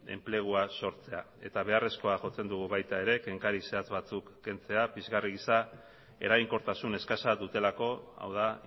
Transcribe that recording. enplegua sortzea eta beharrezkoa jotzen dugu baita ere kenkari zehatz batzuk kentzea pizgarri gisa eraginkortasun eskasa dutelako hau da